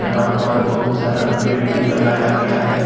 यहाँ पर बहुत सारा पेड़ भी लगाया गया है।